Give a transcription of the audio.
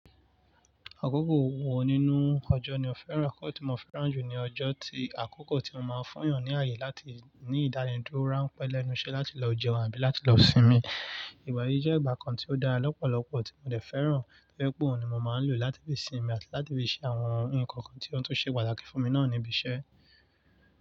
Àkókò wo nínú ọjọ́ ni o fẹ́ràn? Àkókò tí mo fẹ́ràn jù ni ọjọ́ tí àkókò tí ó máa ń fún èèyàn ní ààyè láti ní ìdánidúró ránpẹ́ lẹ́nu iṣẹ́ láti lọ jẹun àbí láti lọ sinmi. Ìgbà yìí jẹ́ ìgbà kan tí ó dára lọ́pọ̀lọpọ̀ tí mo dẹ̀ fẹ́ràn, tó jẹ́ pé òun ni mo máa ń lò láti fi sinmi àti láti fi ṣe àwọn nǹkan kan tí ó tún ṣe pàtàkì fún mi náà níbi iṣẹ́.